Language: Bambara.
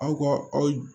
Aw ka aw